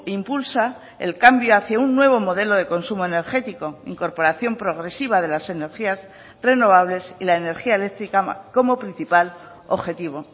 impulsa el cambio hacia un nuevo modelo de consumo energético incorporación progresiva de las energías renovables y la energía eléctrica como principal objetivo